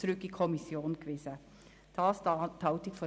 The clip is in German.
Wir kommen zu den Einzelsprechenden.